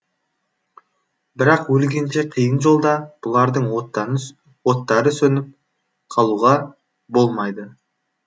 бірақ өлгенше қиын жолда бұлардың оттары сөніп қалуға болмайды